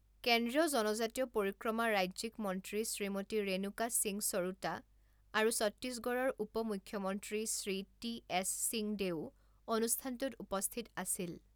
কেন্দ্ৰীয় জনজাতীয় পৰিক্ৰমা ৰাজ্যিক মন্ত্ৰী শ্ৰীমতী ৰেণুকা সিং সৰুতা আৰু ছত্তীশগড়ৰ উপ মুখ্যমন্ত্ৰী শ্ৰী টি এছ সিংদেউও অনুষ্ঠানটোত উপস্থিত আছিল।